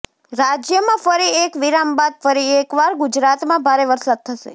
રાજ્યમાં ફરી એક વિરામ બાદ ફરી એક વાર ગુજરાતમાં ભારે વરસાદ થશે